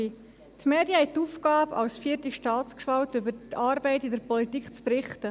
Die Medien haben die Aufgabe, als vierte Staatsgewalt über die Arbeit in der Politik zu berichten.